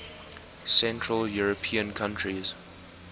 central european countries